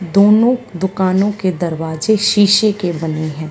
दोनों दुकानों के दरवाजे शीशे के बने हैं।